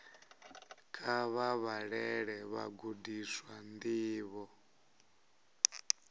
kha vha vhalele vhagudiswa ndivho